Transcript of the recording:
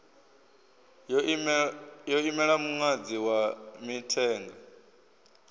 yo imela muṅadzi wa mithenga